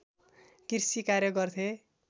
कृषि कार्य गर्थे